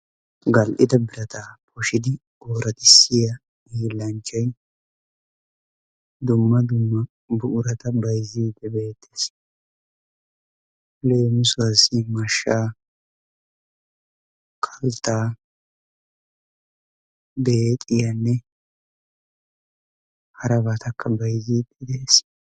Gal'ida birataa poshidi oraxissiya hiillanchchay dumma dumma buqura bayzziidi beettees. Leemisuwasi mashshaa kalttaa beexiyaanne harabatakka bayzzidi de'ees.